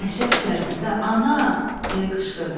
Dəhşət içərisində “Ana!” deyə qışqırdım.